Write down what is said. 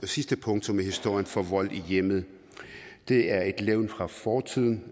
sidste punktum i historien for vold i hjemmet det er et levn fra fortiden